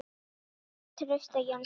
eftir Trausta Jónsson